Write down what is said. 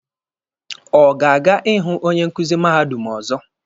Ọ ga-aga ịhụ onye nkuzi mahadum ọzọ?